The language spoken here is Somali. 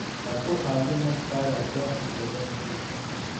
Ha ku caawin naftaada daaha gadaashiisa.